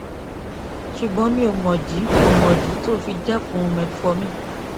ṣùgbọn mi ò mọ ìdí ò mọ ìdí tó o fi dẹkun metformin